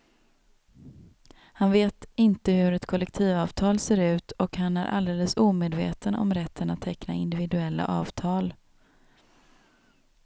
Han vet inte hur ett kollektivavtal ser ut och han är alldeles omedveten om rätten att teckna individuella avtal.